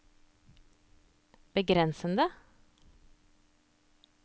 begrensede